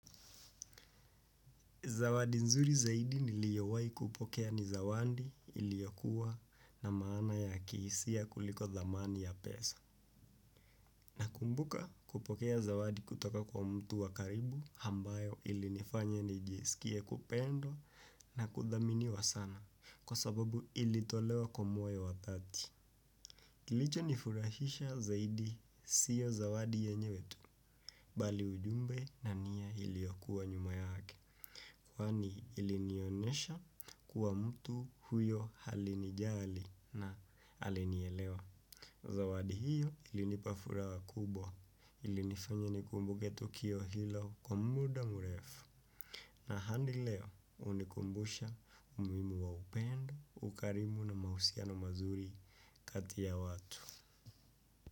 Zawadi nzuri zaidi niliyowai kupokea ni zawandi iliokuwa na maana ya kiisia kuliko dhamani ya pesa. Nakumbuka kupokea zawadi kutoka kwa mtu wa karibu hambayo ilinifanya nijisikie kupendwa na kudhaminiwa sana kwa sababu ilitolewa kwa moyo wa thati. Kilichonifurahisha zaidi siyo zawadi yenyewe tu bali ujumbe na nia iliokuwa nyuma yake. Kwani ilinionesha kuwa mtu huyo halinijali na alinielewa. Zawadi hiyo ilinipa furaha kubwa. Ilinifanya nikumbuke tukio hilo kwa muda murefu. Na handi leo unikumbusha umuhimu wa upendo, ukarimu na mahusiano mazuri kati ya watu.